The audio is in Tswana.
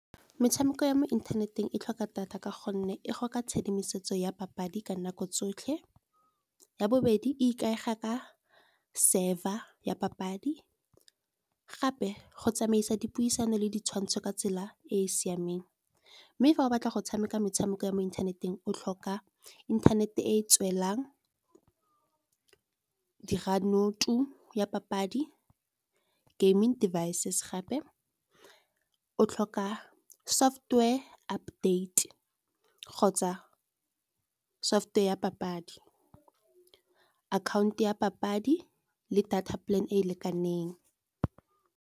Metshameko ya mo inthaneteng e tlhoka data ka gonne e go ka tshedimosetso ya papadi ka nako tsotlhe. Ya bobedi e ikaega ka server ya papadi, gape go tsamaisa dipuisano le ditshwantsho ka tsela e e siameng. Mme fa o batla go tshameka metshameko ya mo inthaneteng, o tlhoka inthanete e tswelang, dira note ya papadi, gaming devices, gape o tlhoka software update kgotsa software ya papadi. Akhaonto ya papadi le data plan e e lekaneng.